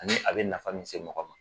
Ani a be nafa min se mɔgɔ ma